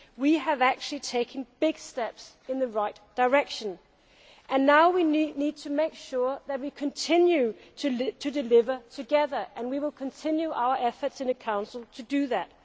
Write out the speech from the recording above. We have taken big steps in the right direction and now we need to make sure that we continue to deliver together and we will continue our efforts in the Council to do that.